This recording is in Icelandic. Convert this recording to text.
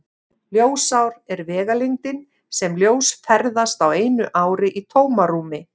Ljósár er vegalengdin sem ljós ferðast á einu ári í tómarúmi.